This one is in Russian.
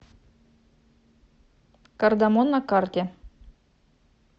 кардамон на карте